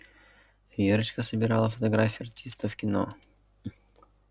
верочка собирала фотографии артистов кино